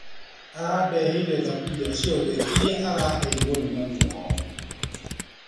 Arandeheire thaburia ciothe iria araheirwo nĩ mami wao.